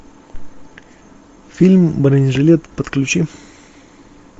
фильм бронежилет подключи